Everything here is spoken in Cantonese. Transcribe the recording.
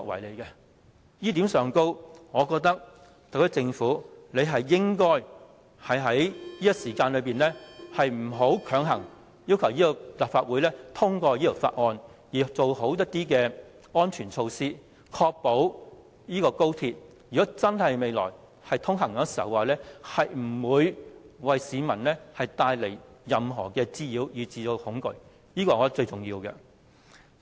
就這一點，我認為特區政府不應在此時強行要求立法會通過《條例草案》，而是做好安全措施，確保高鐵未來通車時，不會為市民帶來任何滋擾甚至恐懼，這是最重要的。